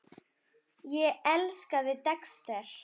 Ég elskaði Dexter.